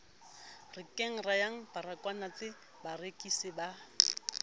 renkeng ya baragwanath barekisi ba